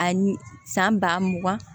A san ba mugan